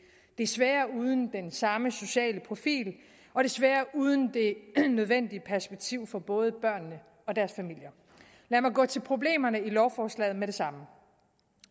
desværre uden den samme sociale profil og desværre uden det nødvendige perspektiv for både børnene og deres familier lad mig gå til problemerne i lovforslaget med det samme